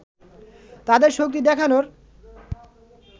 তাদের শক্তি দেখানোর